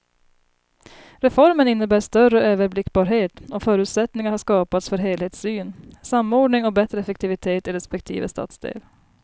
Reformen innebär större överblickbarhet och förutsättningar har skapats för helhetssyn, samordning och bättre effektivitet i respektive stadsdel.